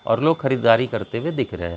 और लोग खरीदारी करते हुए दिख रहे हैं।